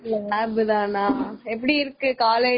இன்னைக்கு class இல்ல அக்கா, lab தான்கா.